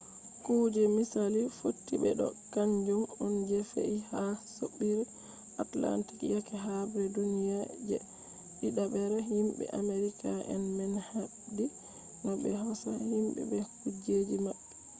kuje misali fotti be ɗo kanjum on je fe’i ha soɓɓiireatalantik yake habre duniye je ɗiɗabre. himɓe amerika en man habdi no ɓe hosa himɓe be kujeji maɓɓe